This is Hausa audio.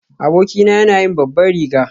Abokina yana yin babban riga.